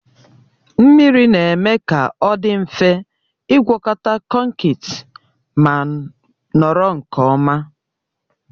Mmiri na-eme ka ọ dị mfe ịgwọkọta konkịtị ma nọrọ nke ọma.